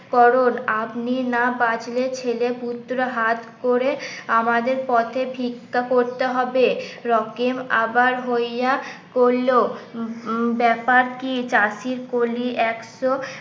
করুন আপনি না বাঁচলে ছেলেপুত্র হাত করে আমাদের পথে ভিক্ষা করতে হবে রকেম আবার হইয়া করল ব্যাপার কি চাষির কলি একশো